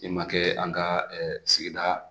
I ma kɛ an ka sigida